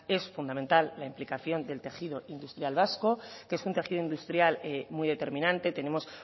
es fundamental la implicación del tejido industrial vasco que es un tejido industrial muy determinante tenemos